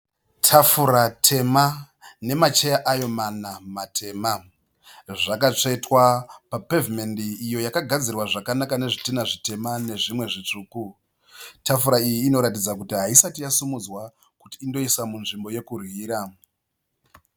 Tafura tema nemacheya ayo mana matema. Zvakatsvetwa papevhimendi iyo yakagadzirwa zvakanaka nezvitinha zvitema nezvimwe zvitsvuku. Tafura iyi inoratidza kuti haisati yasimudzwa kuti indoiswa munzvimbo yekudyira.